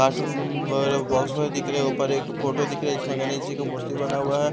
cartoon वगैरह box वगैरह दिख रहे ऊपर एक फोटो दिख रहा है जिसमें गणेश जी का मूर्ति बना हुआ है --